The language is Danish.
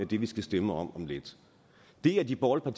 det vi skal stemme om om lidt det har de borgerlige